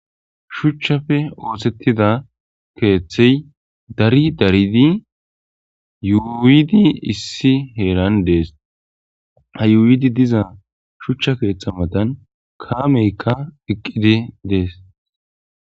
Shuchchafe oosettida keeththey dari daridi yuuidi issi heeran dees hayuuidi diza shuchcha keeththa matan kaameykka iqqidi dees